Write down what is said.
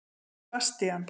Sebastían